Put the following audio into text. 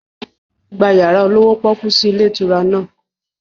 Gba yàrá olówó pọ́kú sì ilé ìtura náà!